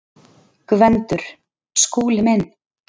GVENDUR: Skúli minn!